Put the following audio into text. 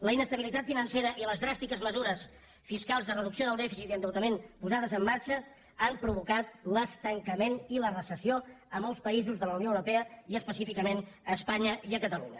la inestabilitat financera i les dràstiques mesures fiscals de reducció del dèficit i endeutament posades en marxa han provocat l’estancament i la recessió a molts països de la unió europea i específicament a espanya i a catalunya